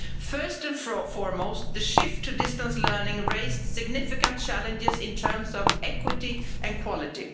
First and foremost, the shift to distance learning raised significant challenges in terms of equity and quality.